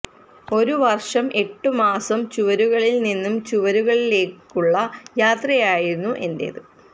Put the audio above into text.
ഒരു വർഷം എട്ടു മാസം ചുവരുകളിൽ നിന്ന് ചുവരുകളിലേക്കുള്ള യാത്രയായിരുന്നു എന്റേത്